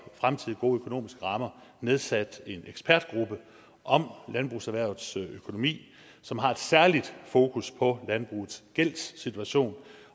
fremtidige gode økonomiske rammer nedsat en ekspertgruppe om landbrugserhvervets økonomi som har et særligt fokus på landbrugets gældssituation